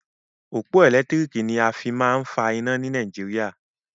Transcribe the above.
Òpó ẹ̀lẹ́tírìkì ni a fí máa ń fa iná ni Nàìjíríà.